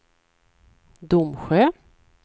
Domsjö